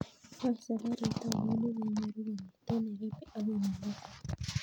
Wany safarit ainon negenyoru kong'eten nairobi agoi mombasa